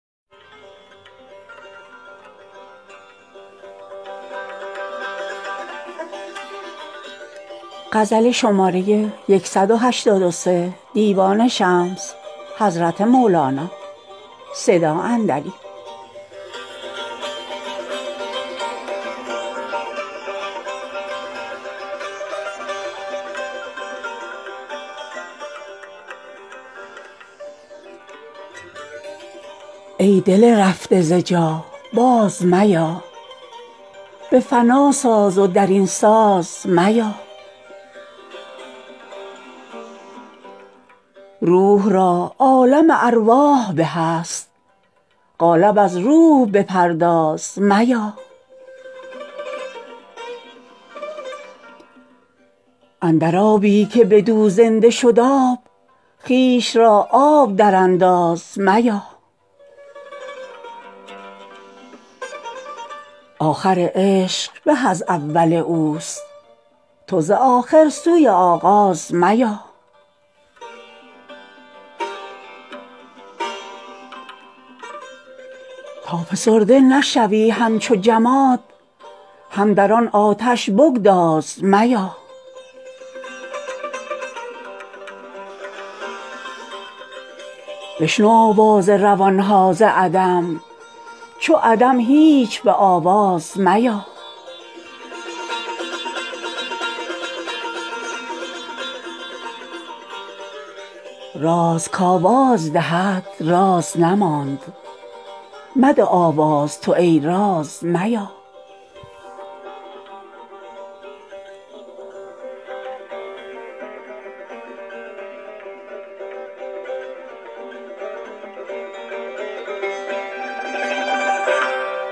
ای دل رفته ز جا باز میا به فنا ساز و در این ساز میا روح را عالم ارواح به است قالب از روح بپرداز میا اندر آبی که بدو زنده شد آب خویش را آب درانداز میا آخر عشق به از اول اوست تو ز آخر سوی آغاز میا تا فسرده نشوی همچو جماد هم در آن آتش بگداز میا بشنو آواز روان ها ز عدم چو عدم هیچ به آواز میا راز که آواز دهد راز نماند مده آواز تو ای راز میا